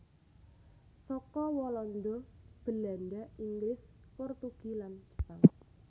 Saka walanda Belanda inggris portugie lan jepang